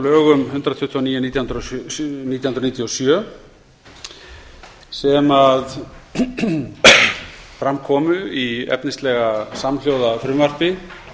lögum númer hundrað tuttugu og níu nítján hundruð níutíu og sjö sem fram komu í efnislega samhljóða frumvarpi